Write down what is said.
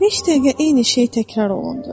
Neçə dəqiqə eyni şey təkrar olundu.